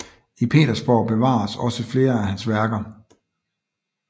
I Petersborg bevares også flere af hans værker